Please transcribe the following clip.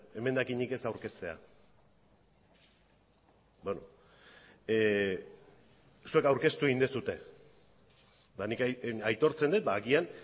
emendakinik ez aurkeztea beno zuek aurkeztu egin duzue eta nik aitortzen dut ba agian